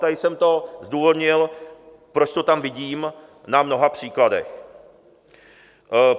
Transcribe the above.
Tady jsem to zdůvodnil, proč to tam vidím na mnoha příkladech.